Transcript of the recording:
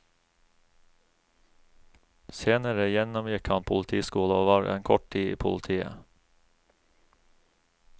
Senere gjennomgikk han politiskole og var en kort tid i politiet.